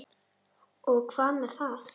Og hvað með það?